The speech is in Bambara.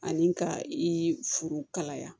Ani ka i furu kalaya